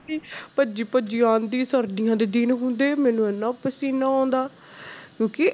ਭੱਜੀ ਭੱਜੀ ਆਉਂਦੀ ਸਰਦੀਆਂ ਦੇ ਦਿਨ ਹੁੰਦੇ, ਮੈਨੂੰ ਇੰਨਾ ਪਸੀਨਾ ਆਉਂਦਾ ਕਿਉਂਕਿ